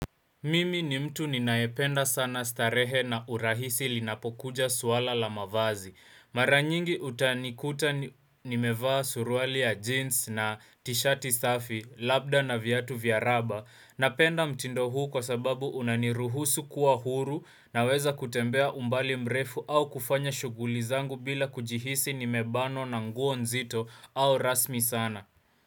Mimi ni mtu ninayependa sana starehe na urahisi linapokuja swala la mavazi. Mara nyingi utanikuta nimevaa suruali ya jeans na tishati safi, labda na viatu vya raba. Napenda mtindo huu kwa sababu unaniruhusu kuwa huru naweza kutembea umbali mrefu au kufanya shughuli zangu bila kujihisi nimebanwa na nguo nzito au rasmi sana.